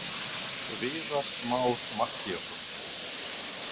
Viðar Már Mattíasson.